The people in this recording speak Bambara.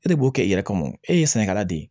E de b'o kɛ i yɛrɛ kama o ye sɛnɛkɛla de ye